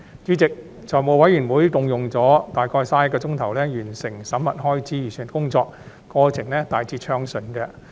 主席，財務委員會共用了約31小時完成審核開支預算的工作，過程大致順暢。